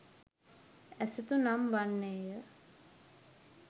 ඇසතු නම් වන්නේය.